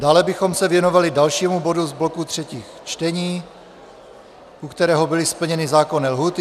Dále bychom se věnovali dalšímu bodu z bloku třetích čtení, u kterého byly splněny zákonné lhůty.